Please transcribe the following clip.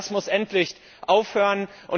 Ich denke, das muss endlich aufhören.